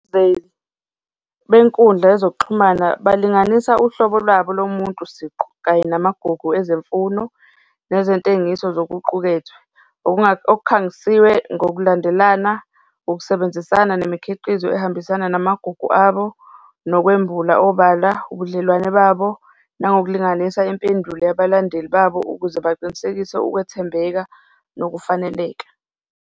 Benkundla yezokuxhumana balinganisa uhlobo lwabo lomuntu siqu kanye namagugu ezemfuno nezentengiso zokuqukethwe, okukhangisiwe ngokulandelana, ukusebenzisana nemikhiqizo ehambisana namagugu abo, nokwembula obala ubudlelwane babo, nangokulinganisa impendulo yabalandeli babo ukuze baqinisekise ukwethembeka nokufaneleka.